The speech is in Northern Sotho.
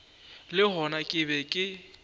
le gona ke be ke